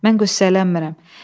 Mən qüssələnmirəm.